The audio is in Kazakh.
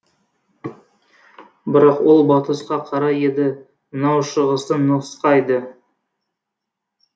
бірақ ол батысқа қарай еді мынау шығысты нұсқайды